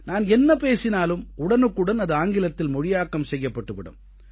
நான் என்ன பேசினாலும் உடனுக்குடன் அது ஆங்கிலத்தில் மொழியாக்கம் செய்யப்பட்டு விடும்